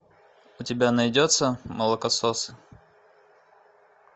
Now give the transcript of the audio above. у тебя найдется молокососы